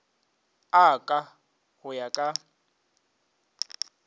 a ka go ya ka